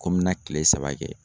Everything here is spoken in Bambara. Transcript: Ko n bɛna kile saba kɛ.